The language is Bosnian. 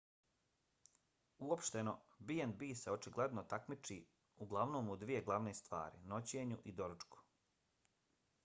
uopšteno b&b se očigledno takmiči uglavnom u dvije glavne stvari: noćenju i doručku